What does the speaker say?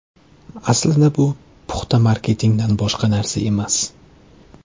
Aslida bu puxta marketingdan boshqa narsa emas.